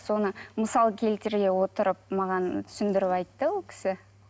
соны мысал келтіре отырып маған түсіндіріп айтты ол кісі